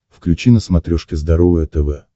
включи на смотрешке здоровое тв